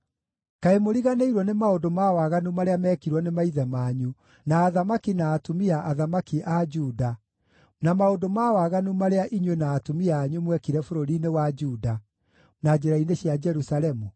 Kaĩ mũriganĩirwo nĩ maũndũ ma waganu marĩa mekirwo nĩ maithe manyu, na athamaki na atumia-athamaki a Juda, na maũndũ ma waganu marĩa inyuĩ na atumia anyu mwekire bũrũri-inĩ wa Juda na njĩra-inĩ cia Jerusalemu?